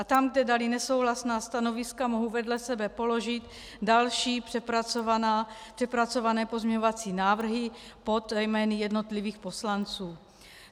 A tam, kde dali nesouhlasná stanoviska, mohu vedle sebe položit další přepracované pozměňovací návrhy pod jmény jednotlivých poslanců.